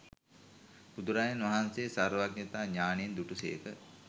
බුදුරජාණන් වහන්සේ සර්වඥතා ඥානයෙන් දුටුසේක.